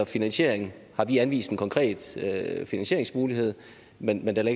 finansiering har vi anvist en konkret finansieringsmulighed men men der